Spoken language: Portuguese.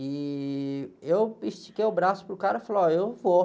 E eu estiquei o braço para o cara e falei, ó, eu vou.